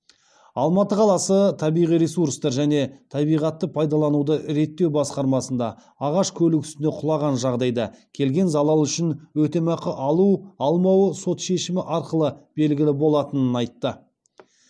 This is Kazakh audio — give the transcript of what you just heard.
алматы қаласы табиғи ресурстар және табиғатты пайдалануды реттеу басқармасында ағаш көлік үстіне құлаған жағдайда келген залал үшін өтемақы алу алмау сот шешімі арқылы белігілі болатынын айтады